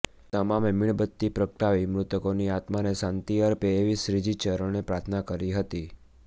તમામે મીણબત્તી પ્રગટાવી મૃતકોની આત્માને શાંતિ અર્પે એવી શ્રીજી ચરણે પ્રાર્થના કરી હતી